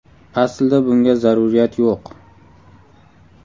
Aslida bunga zaruriyat yo‘q.